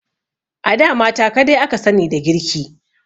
A da mata kadai aka sani da girki.